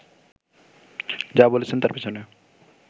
যা বলছেন তার পেছনে